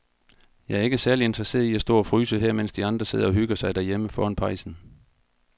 Jeg er ikke særlig interesseret i at stå og fryse her, mens de andre sidder og hygger sig derhjemme foran pejsen.